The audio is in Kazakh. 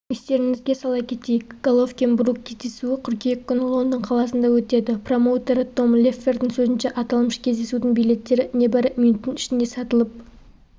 естеріңізге сала кетейік головкин-брук кездесуі қыркүйек күні лондон қаласында өтеді промоутері том леффлердің сөзінше аталмыш кездесудің билеттері небары минуттың ішінде сатылып